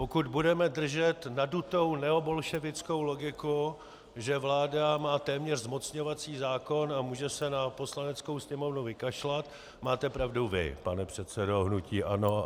Pokud budeme držet nadutou neobolševickou logiku, že vláda má téměř zmocňovací zákon a může se na Poslaneckou sněmovnu vykašlat, máte pravdu vy, pane předsedo hnutí ANO.